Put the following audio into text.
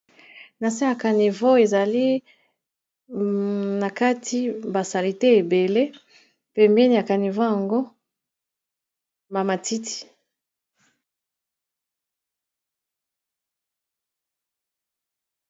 nase ya canivo ezali na kati basalite ebele pembeni ya kanivo yango mamatiti